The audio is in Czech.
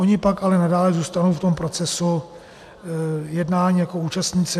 Ony pak ale nadále zůstanou v tom procesu jednání jako účastníci.